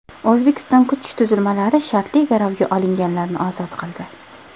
O‘zbekiston kuch tuzilmalari shartli garovga olinganlarni ozod qildi .